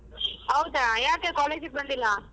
ಹೌದಾ ಯಾಕೆ college ಬಂದಿಲ್ಲ?